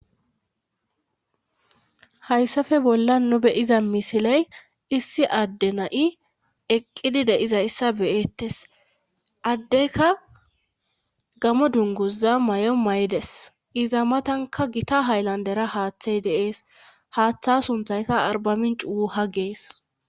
hayssafe bolla nu be7iza misiley issi adde na7i eqqidi de7iza issa beyettes addeyka gamo dunguza may7o may7des iza matanka gita hayllandera haaththey de7ees haaththa sunthayka arbamincuu ha gees